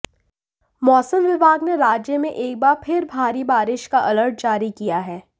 मौसम विभाग ने राज्य में एक बार फिर भारी बारिश का अलर्ट जारी किया है